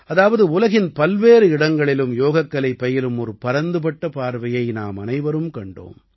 அதாவது உலகின் பல்வேறு இடங்களிலும் யோகக்கலை பயிலும் ஒரு பரந்துபட்ட பார்வையை நாமனைவரும் கண்டோம்